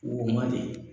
Wo mandi